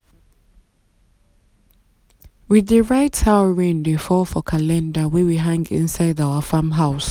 we dey write how rain dey fall for calendar wey we hang inside our farm house.